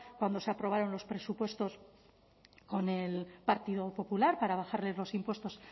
cuando se aprobaron los presupuestos con el partido popular para bajarles los impuestos